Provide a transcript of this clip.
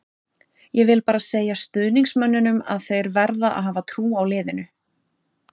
Ég vil bara segja stuðningsmönnunum að þeir verða að hafa trú á liðinu.